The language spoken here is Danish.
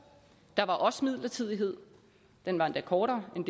der var også midlertidighed den var endda kortere end